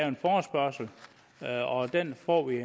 en forespørgsel og den får vi